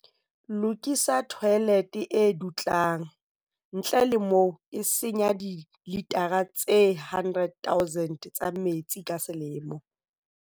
Lokisa thoelethe e dutlang, ntle le moo e senya dilitara tse 100 000 tsa metsi ka selemo.